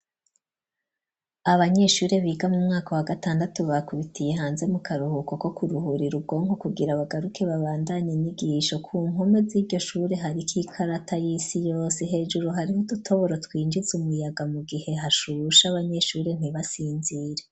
Abanyeshure biga mumwaka wa gatandatu, bakubitiye hanze mu karuhuko ko kuruhura imugongo ,kugira bagaruke babandanye inyigisho, kumpome z'iryo shure hari k ikarata y'isi yose ,hejuru hariho udutoboro twinjiz' umuyaga mu gihe hashushe abanyeshure ntibasinzire.